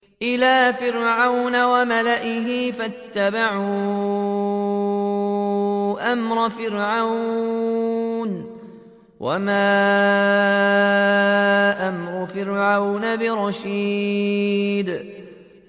إِلَىٰ فِرْعَوْنَ وَمَلَئِهِ فَاتَّبَعُوا أَمْرَ فِرْعَوْنَ ۖ وَمَا أَمْرُ فِرْعَوْنَ بِرَشِيدٍ